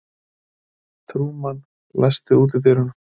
Trúmann, læstu útidyrunum.